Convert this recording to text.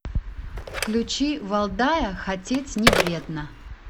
включи валдая хотеть не вредно